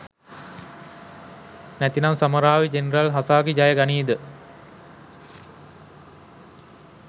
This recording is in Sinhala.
නැතිනම් සමුරායි ජෙනරල් හසාසි ජය ගනීද?